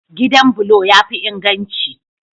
Gidan bulo ya fi inganci.